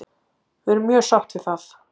Við erum mjög sátt við það.